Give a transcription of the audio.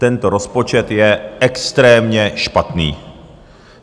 Tento rozpočet je extrémně špatný.